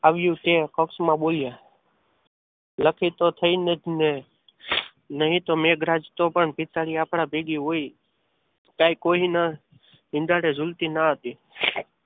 આવ્યું તે કૌંસમાં બોલ્યા લખી તો થઈને જ ને નહીં તો મેઘરાજ ની પિતા પણ આપણા ભેગી હોય ત્યાં કોઈ નહીં હિંડોળે ઝૂલતી ન હતી.